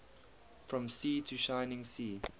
from sea to shining sea